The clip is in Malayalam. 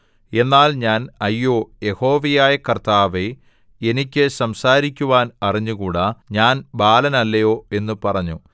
എന്നാൽ ഞാൻ അയ്യോ യഹോവയായ കർത്താവേ എനിക്ക് സംസാരിക്കുവാൻ അറിഞ്ഞുകൂടാ ഞാൻ ബാലനല്ലയോ എന്നു പറഞ്ഞു